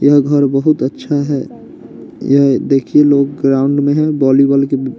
यह घर बहुत अच्छा है यह देखिए लोग ग्राउंड में हैं वॉलीबॉल के--